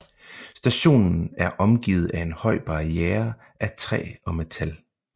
Stationen er omgivet af en høj barriere af træ og metal